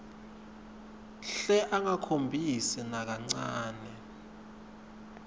hle angakhombisi nakancane